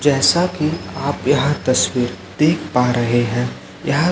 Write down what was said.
जैसा कि आप यह तस्वीर देख पा रहे हैं यह--